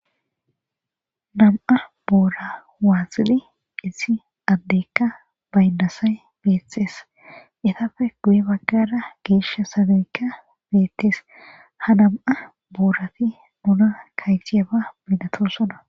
Nam'a boora waaxili issi addeykka baynnasay beeththees etafe guye baggara geeshsha sageykka beettees ha nam'a boorafi nuna kayjiyaba binatosona